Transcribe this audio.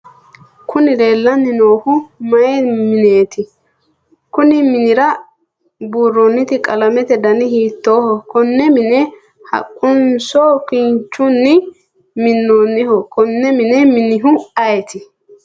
kuni leellanni noohu mayi mineeti? konni minira buurroonniti qalamete dani hiittooho? konne mine haqquninso kinchunni minnoonniho? konne mine mininohu ayeeti?